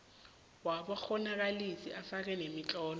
wabakghonakalisi ufake nemitlolo